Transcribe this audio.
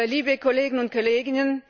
Liebe Kolleginnen und Kollegen!